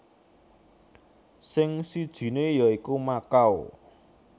Sing sijiné ya iku Makau